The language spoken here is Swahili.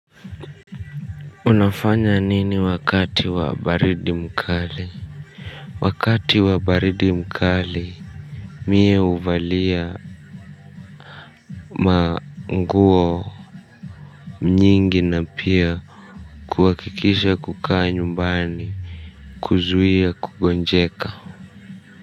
Unafanya nini wakati wa baridi mkali? Wakati wa baridi mkali mie huvalia manguo nyingi, na pia kuhakikisha kukaa nyumbani, kuzuia kugonjeka.